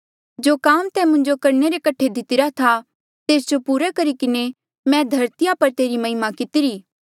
जो काम तैं मुंजो करणे रे कठे दितिरा था तेस जो पूरा करी किन्हें मैं धरतिया पर तेरी महिमा कितिरी